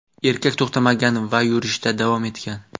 Erkak to‘xtamagan va yurishda davom etgan.